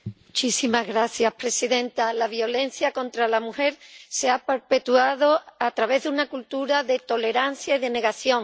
Señora presidenta, la violencia contra la mujer se ha perpetuado a través de una cultura de tolerancia y de negación.